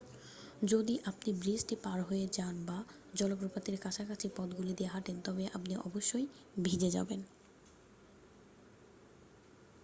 যদি আপনি ব্রিজটি পার হয়ে যান বা জলপ্রপাতের কাছাকাছি পথগুলি দিয়ে হাঁটেন তবে আপনি অবশ্যই ভিজে যাবেন